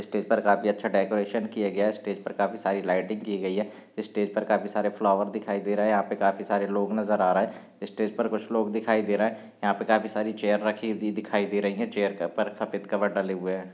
Stage पर काफी अच्छा डेकोरेशन किया गया है स्टेज पर काफी सारी लाइटिंग की गई है स्टेज पर काफी सारे फ्लावर दिखाई दे रहे है यहाँ पे काफी सारे लोग नजर आ रहे हैं स्टेज पर कुछ लोग दिखाई दे रहे है यहाँ पे काफी सारी चेयर रखी हुई दिखाई दे रही हैं चेयर के ऊपर सफेद कवर डले हुए हैं।